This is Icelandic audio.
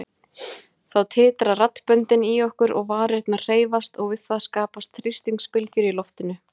Þá titra raddböndin í okkur og varirnar hreyfast og við það skapast þrýstingsbylgjur í loftinu.